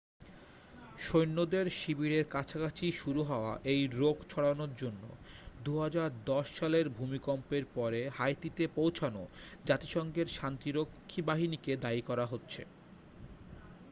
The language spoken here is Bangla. সৈন্যদের শিবিরের কাছাকাছি শুরু হওয়া এই রোগ ছড়ানোর জন্য 2010 সালের ভূমিকম্পের পরে হাইতিতে পৌঁছানো জাতিসংঘের শান্তিরক্ষী বাহিনীকে দায়ী করা হচ্ছে